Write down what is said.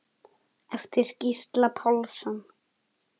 eftir Gísla Pálsson